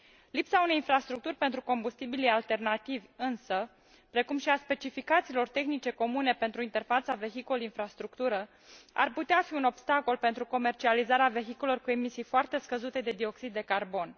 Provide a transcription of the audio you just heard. Lipsa unei infrastructuri pentru combustibilii alternativi însă, precum și a specificațiilor tehnice comune pentru interfața vehicul infrastructură ar putea fi un obstacol pentru comercializarea vehiculelor cu emisii foarte scăzute de dioxid de carbon.